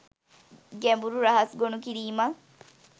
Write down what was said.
ගැඹුරු රහස් ගොනු කිරීමක්.